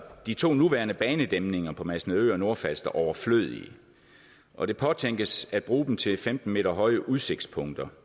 de to nuværende banedæmninger på masnedø og nordfalster overflødige og det påtænkes at bruge dem til femten m høje udsigtspunkter